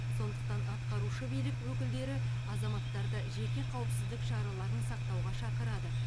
сондықтан атқарушы билік өкілдері азаматтарды жеке қауіпсіздік шараларын сақтауға шақырады